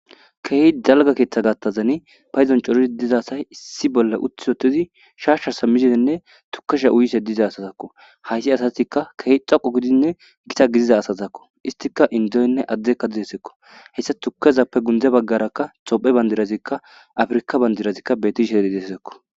Keeh dalga keeththa gattazani payzon cori dizasay issi bolla utti otizi shaashshasa mizenne tukasha uyise diiza asazakko haysi asatikka keh xoqo gidinne gita gidiza asazakko istika indoynne addekka didesekko hessa tukezappe gundze baggarakka tophe bandirazikka afrika bandirazikka betisheri dessekko.